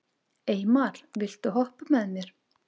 Eymar, viltu hoppa með mér?